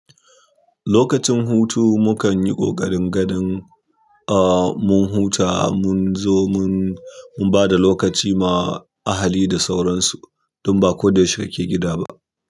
Lokacin hutu mukanyi ƙoƙarin ganin mun huta munzo mun bada lokaci ma ahali da sauransu. Dan baƙo da yaushe kake gida ba.